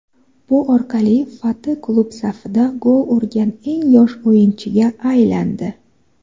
Bu orqali Fati klub safida gol urgan eng yosh o‘yinchiga aylandi.